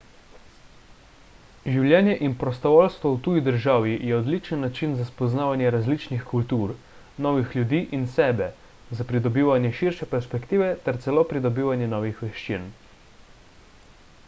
življenje in prostovoljstvo v tuji državi je odličen način za spoznavanje različnih kultur novih ljudi in sebe za pridobivanje širše perspektive ter celo pridobivanje novih veščin